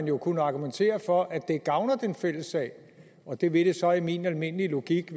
jo kunne argumentere for at det gavner den fælles sag og det vil det så i min almindelige logik